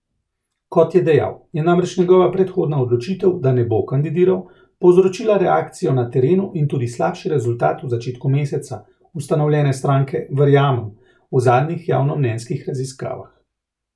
Kot je dejal, je namreč njegova predhodna odločitev, da ne bo kandidiral, povzročila reakcijo na terenu in tudi slabši rezultat v začetku meseca ustanovljene stranke Verjamem v zadnjih javnomnenjskih raziskavah.